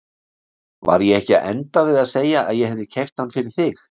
Var ég ekki að enda við að segja að ég hefði keypt hann fyrir þig?